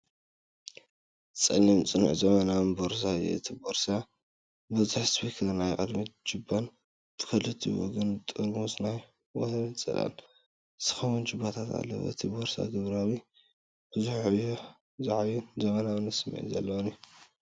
ጸሊም፡ ጽኑዕን ዘመናውን ቦርሳ እዩ። እቲ ቦርሳ ብዙሕ ዚፐር፡ ናይ ቅድሚት ጁባን ብኽልቲኡ ወገን ንጥርሙዝ ማይ ወይ ጽላል ዝኸውን ጁባታትን ኣለዎ። እቲ ቦርሳ ግብራዊ፡ ብዙሕ ዕዮ ዝዓዪን ዘመናዊ ስምዒት ዘለዎን እዩ።